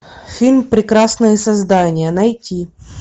фильм прекрасные создания найти